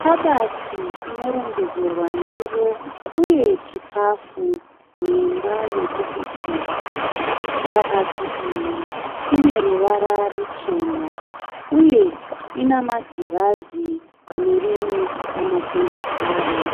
Kabati inorongedzerwa ndiro uye chikafu muimba yekubikira. Kabati iyi ineruva ruchena uye ina magirazi panerimwe ramagonhi aro.